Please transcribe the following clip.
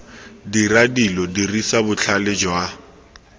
dira dilo dirisa botlhale jwa